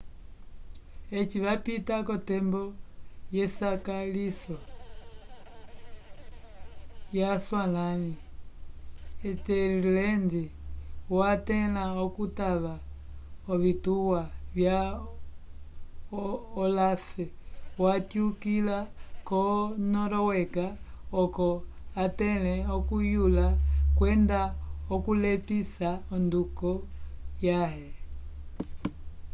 eci vapita k'otembo yesakaliso yaswalãli ethelred watẽla okutava ovituwa vya olaf watyukila ko-noruega oco atẽle okuyula kwenda okulepisa onduko yãhe